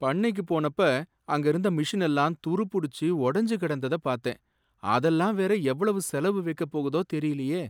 பண்ணைக்கு போனப்ப அங்க இருந்த மெஷின் எல்லாம் துருப் பிடிச்சு உடஞ்சு கிடந்தத பார்த்தேன், அதெல்லாம் வேற எவ்வளவு செலவு வைக்கப்போகுதோ தெரியலையே!